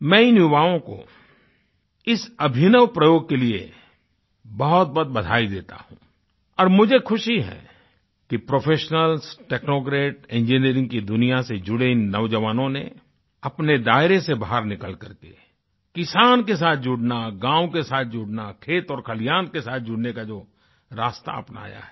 मैं इन युवाओं को इस अभिनव प्रयोग के लिए बहुतबहुत बधाई देता हूँ और मुझे खुशी है कि प्रोफेशनल्सtechnocrat इंजिनियरिंग की दुनिया से जुड़ेइन नौजवानों ने अपने दायरे से बाहर निकल कर के किसान के साथ जुड़ना गाँव के साथ जुड़ना खेत और खलिहान के साथ जुड़ने का जो रास्ता अपनाया है